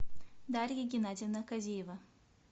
дарья геннадьевна козеева